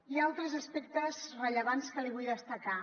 i altres aspectes rellevants que li vull destacar